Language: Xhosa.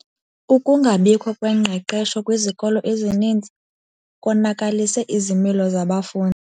Ukungabikho kwengqeqesho kwizikolo ezininzi konakalise izimilo zabafundi.